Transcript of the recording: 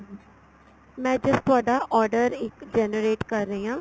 ਮੈਂ just ਤੁਹਾਡਾ order ਇੱਕ generate ਕਰ ਰਹੀ ਆ